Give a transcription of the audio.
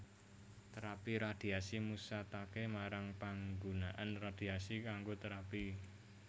Terapi radhiasi musataké marang panggunaan radhiasi kanggo terapi